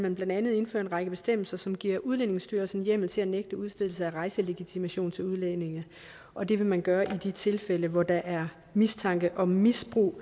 man blandt andet indføre en række bestemmelser som giver udlændingestyrelsen hjemmel til at nægte udstedelse af rejselegitimation til udlændinge og det vil man gøre i de tilfælde hvor der er mistanke om misbrug